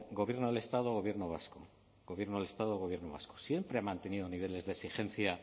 gobierno del estado gobierno vasco gobierno del estado gobierno vasco siempre ha mantenido niveles de exigencia